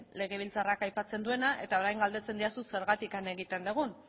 legebiltzarrak aipatzen duena eta orain galdetzen didazu zergatik egiten dugun